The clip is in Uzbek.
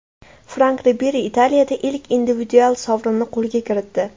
Frank Riberi Italiyada ilk individual sovrinini qo‘lga kiritdi.